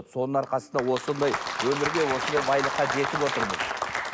соның арқасында осындай өнерге осындай байлыққа жетіп отырмыз